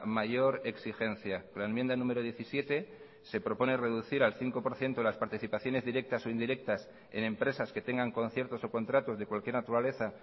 mayor exigencia la enmienda número diecisiete se propone reducir al cinco por ciento las participaciones directas o indirectas en empresas que tengan conciertos o contratos de cualquier naturaleza